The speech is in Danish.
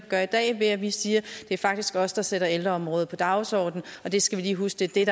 gør i dag ved at vi siger det er faktisk os der sætter ældreområdet på dagsordenen og det skal vi lige huske det er